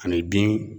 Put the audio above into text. Ani bin